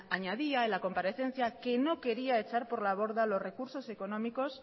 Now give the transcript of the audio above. añadía en la comparecencia que no quería echar por la borda los recursos económicos